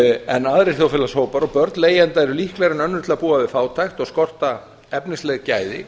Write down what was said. en aðrir þjóðfélagshópar og börn leigjenda eru líklegri en önnur til að búa við fátækt og skorta efnisleg gæði